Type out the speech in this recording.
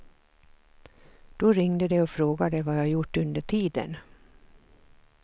Då ringde de och frågade vad jag gjort under tiden.